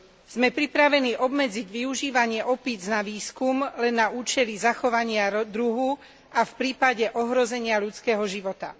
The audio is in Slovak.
Sme pripravení obmedziť využívanie opíc na výskum len na účely zachovania druhu a v prípade ohrozenia ľudského života.